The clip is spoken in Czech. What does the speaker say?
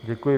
Děkuji.